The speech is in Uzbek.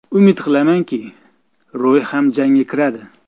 Umid qilamanki, Roy ham jangga kiradi.